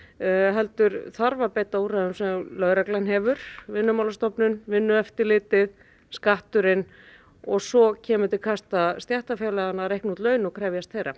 heldur þarf að beita úrræðum sem lögreglan hefur Vinnumálastofnun Vinnueftirlitið skatturinn og svo kemur til kasta stéttarfélaganna að reikna út laun og krefjast þeirra